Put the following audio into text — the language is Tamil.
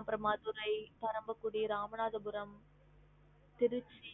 அப்ரோ மதுரை, பரமக்குடி, ராமநாதபுரம் திருச்சி